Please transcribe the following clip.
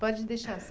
Pode deixar